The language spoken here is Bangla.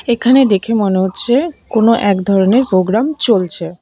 এখানে দেখে মনে হচ্ছে কোনো এক ধরনের পোগ্রাম চলছে।